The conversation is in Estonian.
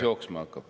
Praegu ei pane.